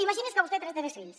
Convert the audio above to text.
imagini’s que vostè té tres fills